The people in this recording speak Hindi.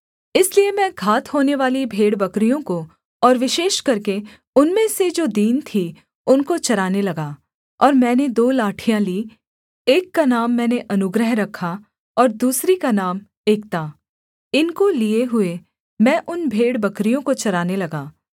इसलिए मैं घात होनेवाली भेड़बकरियों को और विशेष करके उनमें से जो दीन थीं उनको चराने लगा और मैंने दो लाठियाँ लीं एक का नाम मैंने अनुग्रह रखा और दूसरी का नाम एकता इनको लिये हुए मैं उन भेड़बकरियों को चराने लगा